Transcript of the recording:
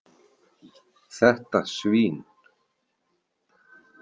Þetta svín.